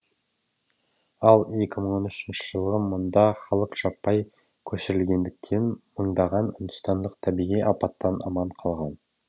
ал екі мың он үшінші жылы мұнда халық жаппай көшірілгендіктен мыңдаған үндістандық табиғи апаттан аман қалған